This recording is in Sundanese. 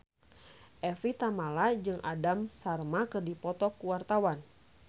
Evie Tamala jeung Aham Sharma keur dipoto ku wartawan